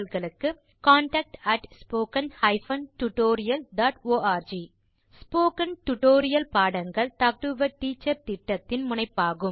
contact at spoken hyphen tutorial dot org spoken tutorial பாடங்கள் talk to a teacher திட்டத்தின் முனைப்பாகும்